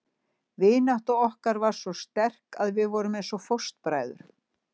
Vinátta okkar var svo sterk að við vorum eins og fóstbræður.